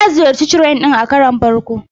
Ta ziyarci Shrine din a karon farko.